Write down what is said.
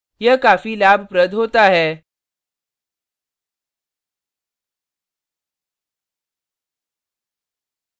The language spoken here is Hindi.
यह काफी लाभप्रद होता है